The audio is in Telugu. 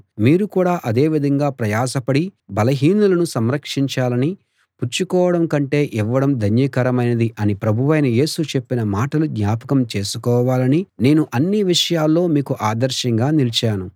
మీరు కూడా అదే విధంగా ప్రయాసపడి బలహీనులను సంరక్షించాలనీ పుచ్చు కోవడం కంటే ఇవ్వడం ధన్యకరమైనది అని ప్రభువైన యేసు చెప్పిన మాటలు జ్ఞాపకం చేసుకోవాలనీ నేను అన్ని విషయాల్లో మీకు ఆదర్శంగా నిలిచాను